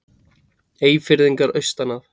Eyfirðingarnir austan að.